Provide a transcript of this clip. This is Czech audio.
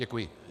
Děkuji.